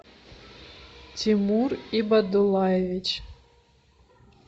тимур ибадуллаевич